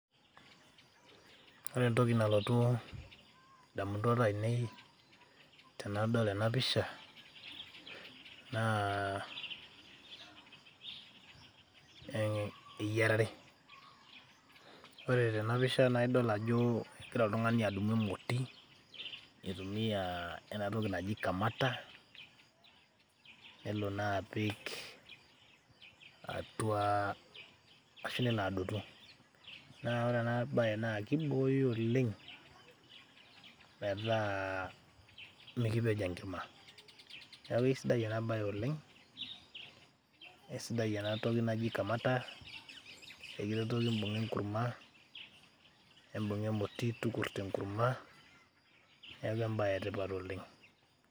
ore entoki nalotu, indamunot ainei tenadol ena pisha naa eyiarare. ore tena pisha naa idol ajo egira oltung'ani adumu emoti , nitumia ena toki naji kamata ,nelo naa apik atua ashu nelo adotu. naa ore ena bae naa kibooyo oleng' metaa mikipej enkima .niaku isidai ena bae oleng'eisidai ena toki naji kamata ekiretoki imbung'a enkurma, imbung'a emoti tukurto enkurma ,neaku embae etipat oleng'.